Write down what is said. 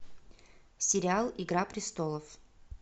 сериал игра престолов